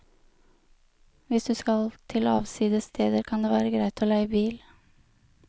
Hvis du skal til avsides steder, kan det være greit å leie bil.